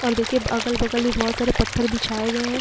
और देखिए अगल बगल एक बोहोत सारे पत्थर बिछाए गए हैं।